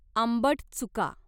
आंबट चुका